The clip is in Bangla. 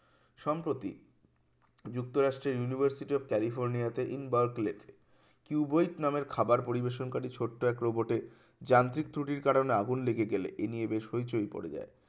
সম্প্রতি যুক্তরাষ্ট্রের university of california তে in berkeley কিউবয়িক নামের খাবার পরিবেশন কারী ছোট্ট এক robot এ যান্ত্রিক ত্রুটির কারণে আগুন লেগে গেলে এই নিয়ে বেশ পরিচয় পড়ে যায়